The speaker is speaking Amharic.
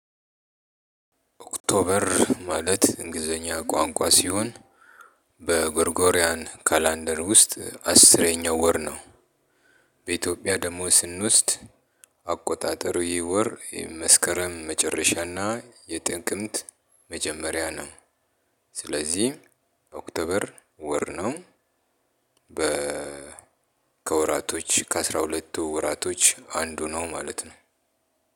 ኦክቶበር ማለት እንግሊዘኛ ቋንቋ ሲሆን በጎርጎርያን ካላንደር ውስጥ አስረኛው ወር ነው። በኢትዮጵያ ደግሞ ስንወስድ አቆጣጠሩ ይህ ወር የመስከረም መጨረሻና የጥቅምት መጀመሪያ ነው። ስለዚህ ኦክቶበር ወር ነው። በ ከወራቶች ከአስራ ሁለት ወራቶች አንዱ ነው ማለት ነው።